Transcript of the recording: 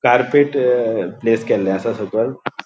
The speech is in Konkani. कार्पेट अ प्लेस केल्ले आसा सोकल.